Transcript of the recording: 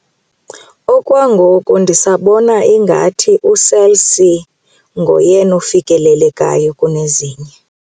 Okwangoku ndisabona ingathi uCell C nguyena ufikelelekayo kunezinye.